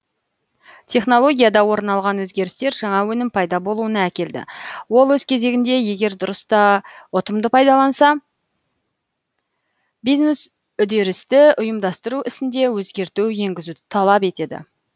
технологияда орын алған өзгерістер жаңа өнім пайда болуына әкелді ол өз кезегінде егер дұрыс та ұтымды пайдаланса бизнес үдерісті ұйымдастыру ісінде өзгерту енгізуді талап етеді